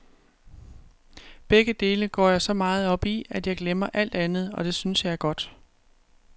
Begge dele går jeg så meget op i, at jeg glemmer alt andet, og det synes jeg er godt.